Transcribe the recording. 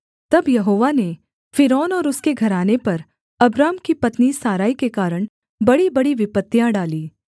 तब यहोवा ने फ़िरौन और उसके घराने पर अब्राम की पत्नी सारै के कारण बड़ीबड़ी विपत्तियाँ डाली